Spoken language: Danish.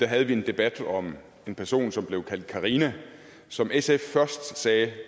havde vi en debat om en person som blev kaldt karina som sf først sagde